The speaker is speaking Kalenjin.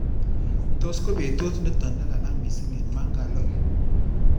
Tos ko betut nito nelalang missing eng Mangalore?